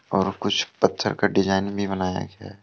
और कुछ पत्थर का डिजाइन भी बनाया गया--